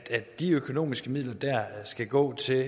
de økonomiske midler skal gå til